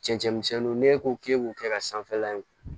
Cɛncɛnmisɛnninw n'e ko k'e b'u kɛ ka sanfɛla in